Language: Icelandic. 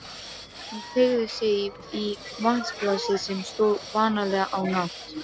Hún teygði sig í vatnsglasið sem stóð vanalega á nátt